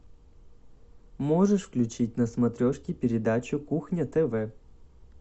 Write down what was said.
можешь включить на смотрешке передачу кухня тв